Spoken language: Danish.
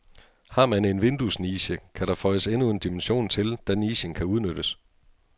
Har man en vinduesniche, kan der føjes endnu en dimension til, da nichen kan udnyttes.